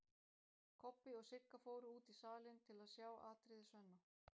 Kobbi og Sigga fóru út í salinn til að sjá atriði Svenna.